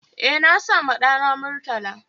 E, na sawa ɗana Murtala